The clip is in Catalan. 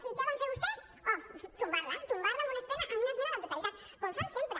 i què van fer vostès oh tombar la tombar la amb una esmena a la totalitat com fan sempre